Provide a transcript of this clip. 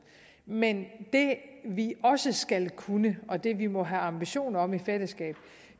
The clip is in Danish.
men det vi også skal kunne og det vi må have ambitioner om i fællesskab